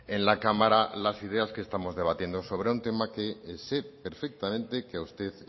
en la cámara las ideas que estamos debatiendo sobre un tema que sé perfectamente que a usted